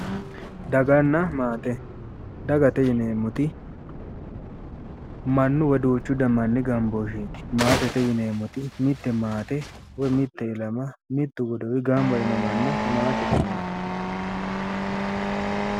Daganna maate dagate yineemmoti mannu wiyi duuchu manni gambooshsheeti maatete yineemmoti mitte maate woyi mitte ilama mittu godowi gamba yiino manna maatete yinanni.